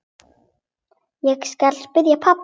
Ég skal spyrja pabba.